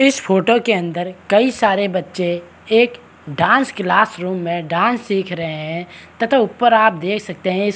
इस फोटो के अंदर कई सारे बच्चे एक डांस क्लास रूम में डांस सिख रहे है तथा ऊपर आप देख सकते है इ --